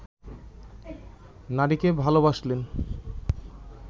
নারীকে ভালোবাসলে